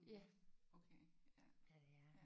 Ja ja det er han